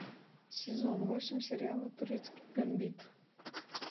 сезон восемь сериала турецкий гамбит